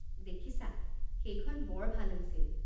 দেখিছা! সেইখন বৰ ভাল হৈছিল।